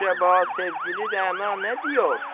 Əcaba sevgili Rəana nə deyir?